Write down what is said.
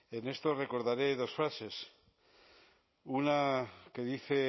en esto recordaré dos frases una que dice